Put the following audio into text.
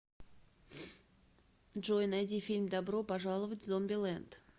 джой найди фильм добро пожаловать в зомби лэнд